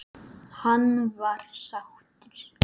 Hann var sáttur.